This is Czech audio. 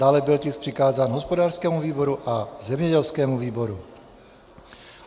Dále byl tisk přikázán hospodářskému výboru a zemědělskému výboru.